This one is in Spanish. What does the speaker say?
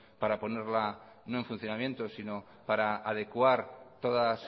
para ponerla no en funcionamiento sino para adecuar todas